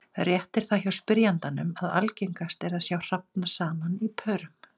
Rétt er það hjá spyrjandanum að algengast er að sjá hrafna saman í pörum.